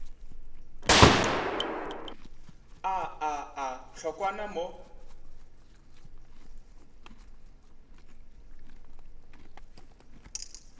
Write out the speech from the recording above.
a a a hlokwa mo